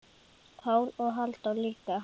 Pál og Halldór líka.